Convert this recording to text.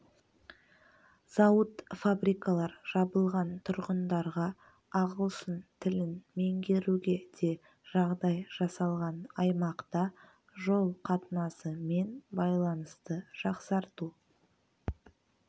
зауыт-фабрикалар жабылған тұрғындарға ағылшын тілін меңгеруге де жағдай жасалған аймақта жол қатынасы мен байланысты жақсарту